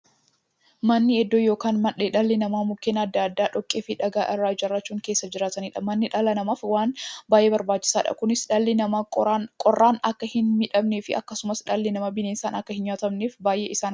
Manni iddoo yookiin mandhee dhalli namaa Mukkeen adda addaa, dhoqqeefi dhagaa irraa ijaarachuun keessa jiraataniidha. Manni dhala namaaf waan baay'ee barbaachisaadha. Kunis, dhalli namaa qorraan akka hinmiidhamneefi akkasumas dhalli namaa bineensaan akka hinnyaatamneef baay'ee isaan gargaara.